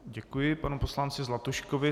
Děkuji panu poslanci Zlatuškovi.